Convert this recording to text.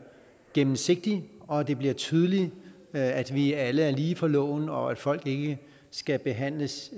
gennemsigtig og at det bliver tydeligt at vi alle er lige for loven og at folk ikke skal behandles